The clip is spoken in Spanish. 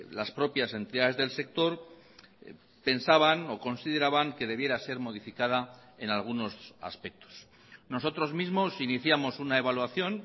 las propias entidades del sector pensaban o consideraban que debiera ser modificada en algunos aspectos nosotros mismos iniciamos una evaluación